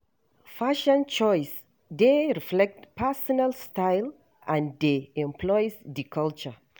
Fashion choice dey reflect personal style and dey influence di culture.